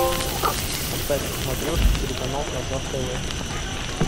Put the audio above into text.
поставь на смотрешке телеканал казах тв